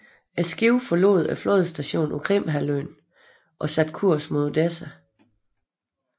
Skibet forlod flådestationen på Krimhalvøen og satte kurs mod Odessa